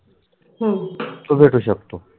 हम तो भेटु शकतो